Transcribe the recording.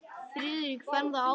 Friðrik fann það á sér.